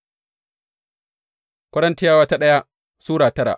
daya Korintiyawa Sura tara